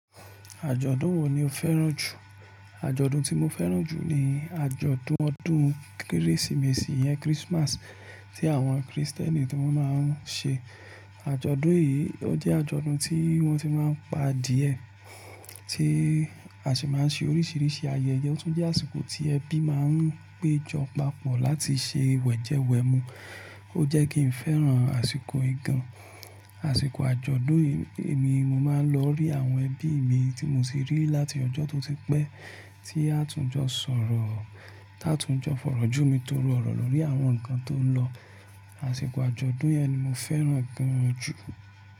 Àjọ̀dún wo ni o fẹ́ràn jù? Àjọ̀dún tí mo fẹ́ràn jù ni àjọ̀dún ọdún Kérésìmesì yẹn, Christmas, tí àwọn Krìstẹ́nì ni wọ́n máa ń ṣe. Àjọ̀dún yìí, ó jẹ́ àjọ̀dún tí wọ́n ti máa ń pa adìẹ, tí a sì máa ń ṣe oríṣiríṣi ayẹyẹ. Ó tún jẹ́ àsìkò tí ẹbí máa ń péjọ papọ̀ láti ṣe wẹ̀jẹwẹ̀mu. Ó jẹ́ kí n fẹ́ràn àsìkò ìgan. Àsìkò àjọ̀dún yìí ni mo máa ń lọ rí àwọn ẹbí mi tí mo sì rí láti ọjọ́ tó ti pẹ́ tí a tún jọ sọ̀rọ̀, táa tún jọ fọ̀rọ̀jú mi toro ọ̀rọ̀ lórí àwọn nǹkan tó ń lọ. Àsìkò àjọ̀dún yẹn ni mo fẹ́ràn gan-an jù.